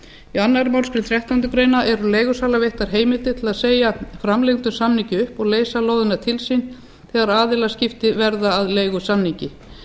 í annarri málsgrein þrettándu greinar eru leigusala veittar heimildir til að segja framlengdum samningi upp og leysa lóðina til sín þegar aðilaskipti verða að leigusamningi